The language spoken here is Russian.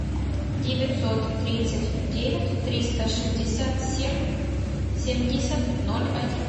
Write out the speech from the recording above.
девятьсот тридцать девять триста шестьдесят семь семьдесят ноль один